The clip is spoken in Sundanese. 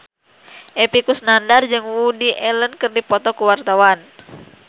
Epy Kusnandar jeung Woody Allen keur dipoto ku wartawan